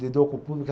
Lido com o público.